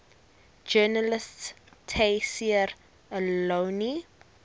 journalist tayseer allouni